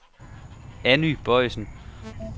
Anny Boisen